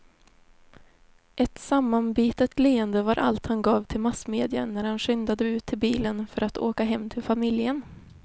Ett sammanbitet leende var allt han gav till massmedia när han skyndade ut till bilen för att åka hem till familjen.